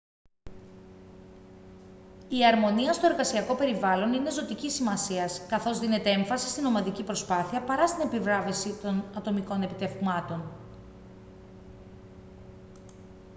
η αρμονία στο εργασιακό περιβάλλον είναι ζωτικής σημασίας καθώς δίνεται έμφαση στην ομαδική προσπάθεια παρά στην επιβράβευση των ατομικών επιτευγμάτων